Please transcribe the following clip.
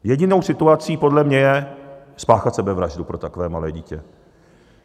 Jedinou situací podle mě je spáchat sebevraždu pro takové malé dítě.